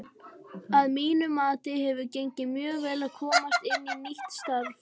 Að mínu mati hefur gengið mjög vel að komast inn í nýtt starf.